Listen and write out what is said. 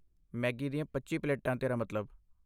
Maggi ਦੀਆਂ ਪੱਚੀ ਪਲੇਟਾਂ ਤੇਰਾ ਮਤਲਬ?